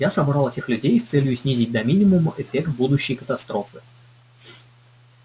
я собрал этих людей с целью снизить до минимума эффект будущей катастрофы